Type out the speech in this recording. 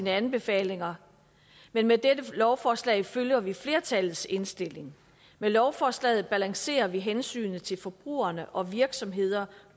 anbefalinger men med dette lovforslag følger vi flertallets indstilling med lovforslaget balancerer vi hensynet til forbrugerne og virksomhederne